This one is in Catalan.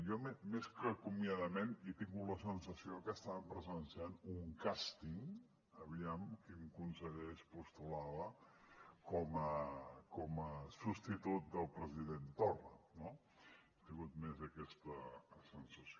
jo més que acomiadament he tingut la sensació que estàvem presenciant un càsting aviam quin conseller es postulava com a substitut del president torra no he tingut més aquesta sensació